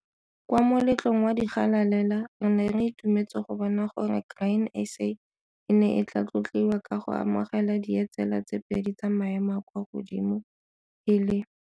Kwa moletlong wa digalalela re ne re itumetse go bona gore Grain SA e ne e tlaa tlotliwa ka go amogela dietsela tse pedi tsa maemo a a kwa godimo, e le.